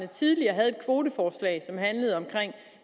tidligere havde et kvoteforslag som handlede om